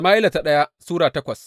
daya Sama’ila Sura takwas